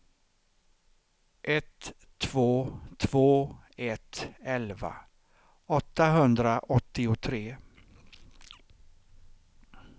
ett två två ett elva åttahundraåttiotre